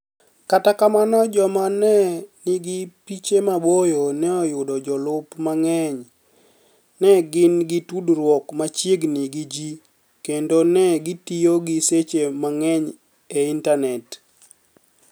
Kata kamano, joma ni e niigi piche maboyo ni e yudo jolup manig'eniy, ni e gini gi tudruok machiegnii gi ji, kenido ni e gitiyo gi seche manig'eniy e Initani et.